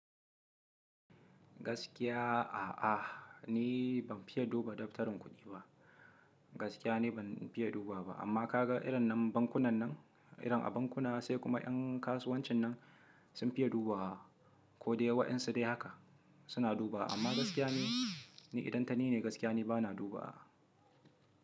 Gaskiya a'a, ni ban fiye duba daftarin kuɗi ba. Gaskiya ne ban fiye duba ba, amma ka ga irin nan bankunan nan, irin a bankuna sai kuma ƴan kasuwancin nan sun fiye dubawa ko dai waɗansu dai haka suna dubawa amma gaskiya ni, ni idan tani ne gaskiya ne bana duba.